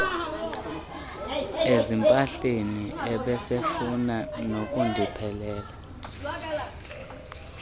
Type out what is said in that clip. ezimpahleni ebesefuna nokundiphelela